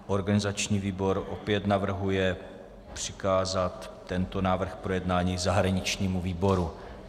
Organizační výbor opět navrhuje přikázat tento návrh k projednání zahraničnímu výboru.